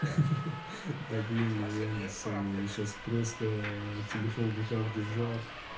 ха-ха-ха да блин я реально сонный я сейчас просто телефон в руках держал